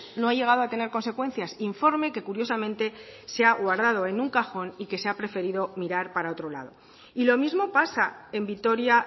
no ha llegado a tener consecuencias informe que curiosamente se ha guardado en un cajón y que se ha preferido mirar para otro lado y lo mismo pasa en vitoria